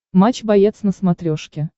матч боец на смотрешке